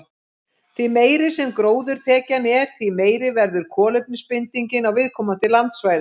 Því meiri sem gróðurþekjan er, því meiri verður kolefnisbindingin á viðkomandi landsvæði.